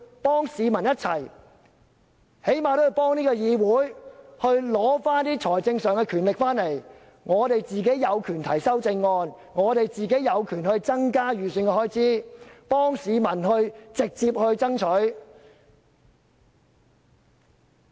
便是為市民、為議會最起碼取得財政分配的權力，讓我們有權提出修正案，為市民直接爭取增加某方面的預算開支。